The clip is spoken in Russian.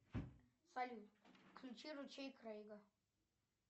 салют включи ручей крейга